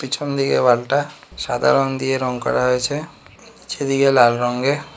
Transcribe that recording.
পিছন থেকে ওয়াল টা সাদা রং দিয়ে রং করা হয়েছে নীচের দিকে লাল রঙ্গে।